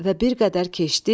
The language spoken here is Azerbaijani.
Və bir qədər keçdi,